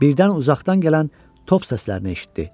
Birdən uzaqdan gələn top səslərini eşitdi.